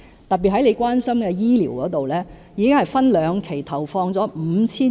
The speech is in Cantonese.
特別是范議員關心的醫療方面，已經分兩期投放了 5,000 億元。